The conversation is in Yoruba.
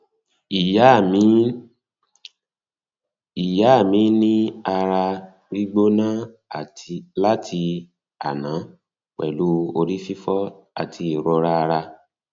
ìyá mi ní um ara um gbígbóná um láti àná pẹlú orí fifo àti ìrora ara